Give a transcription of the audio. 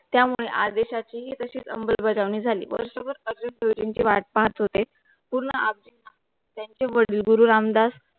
त्या मूळ आदेशाची तशी च अंमलबजावणी झाली. वर्षभर अर्जुन देवचिनची वाट पाहत होते पूर्ण त्यांची वडील गुरु रामदास